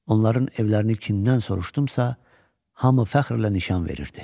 Onların evlərini kimdən soruşdumsa, hamı fəxrlə nişan verirdi.